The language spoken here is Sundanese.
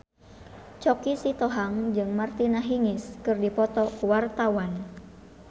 Choky Sitohang jeung Martina Hingis keur dipoto ku wartawan